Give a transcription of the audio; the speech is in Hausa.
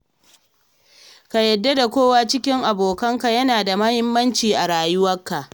Ka yarda da kowa a cikin abokanka yana da muhimmaci a rayuwarka.